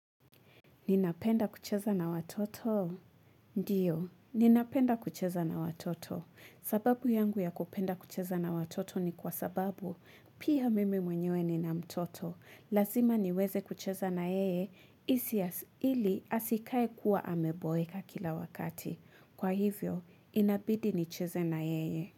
Ninapenda kucheza na watoto? Ndiyo, ninapenda kucheza na watoto. Sababu yangu ya kupenda kucheza na watoto ni kwa sababu, pia mimi mwenyewe nina mtoto. Lazima niweze kucheza na yeye, ili asikae kuwa ameboeka kila wakati. Kwa hivyo, inabidi nicheze na yeye.